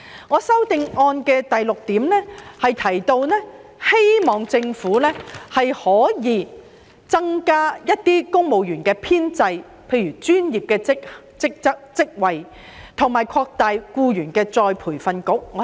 我在第六點提到，希望政府可以增加公務員編制，包括專業職位，以及擴大僱員再培訓局的有關計劃。